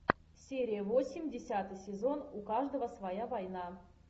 серия восемь десятый сезон у каждого своя война